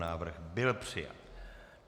Návrh byl přijat.